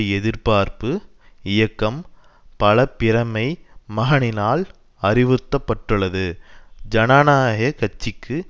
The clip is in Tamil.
எதிர்பார்ப்பு இயக்கம் பல பிரமைமகனினால் அறிவுறுத்த பட்டுள்ளது ஜனநாயக கட்சிக்கு